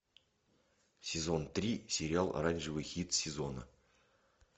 сезон три сериал оранжевый хит сезона